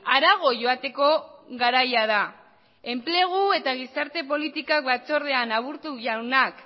harago joateko garaia da enplegu eta gizarte politika batzordean aburto jaunak